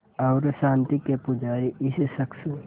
और शांति के पुजारी इस शख़्स